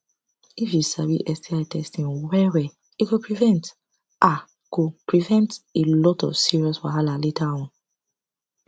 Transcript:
if u sabi sti testing well well e go prevent a go prevent a lot of serious wahala later on